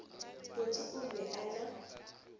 botse o be o na